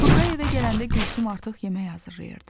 Turqay evə gələndə Gülsüm artıq yemək hazırlayırdı.